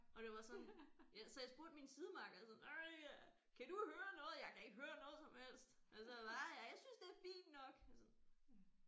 Og det var sådan ja så jeg spurgte min sidemakker sådan ej kan du høre noget jeg kan ikke høre noget som helst så sagde han ah hva jeg synes det er fint nok sådan